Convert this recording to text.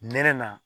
Nɛnɛ na